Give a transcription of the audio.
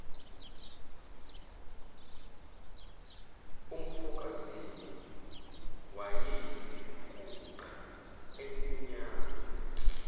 umfokazimu wayeyisiguqa esimnyama